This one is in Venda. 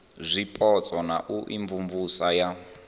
zwipotso na u imvumvusa ya